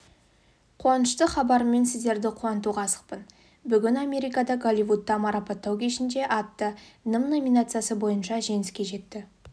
қуанышты хабарыммен сіздерді қуантуға асықпын бүгін америкада голливудта марапаттау кешінде атты нім номинациясы бойынша жеңіске жетті